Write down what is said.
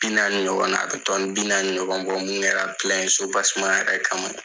Bi naani ɲɔgɔn na, a bi bi naani ɲɔgɔn bɔ, mun kɛra yɛrɛ kama.